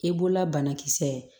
I bolola banakisɛ ye